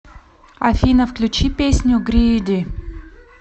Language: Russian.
афина включи песню грииди